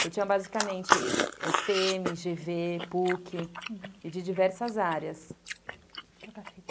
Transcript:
Então, tinha basicamente esse pê eme, gê vê, pu que e de diversas áreas.